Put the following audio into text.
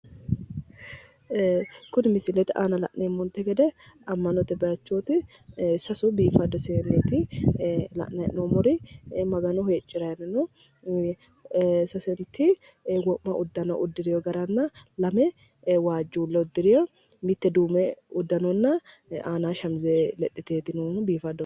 Ee kuni misilete aana la'neemmonte gede ammanote bayiichooti sasu biifaddu seenneeti la'nayi hee'noommori magano huuciranni no ee sasenti wo'ma uddano uddireyo garanna lame waajjuulle uddireyo mitte duume uddanonna aana shamize lexxiteeti noohu biifadoho.